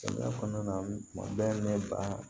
Samiya kɔnɔna na kuma bɛɛ ne ba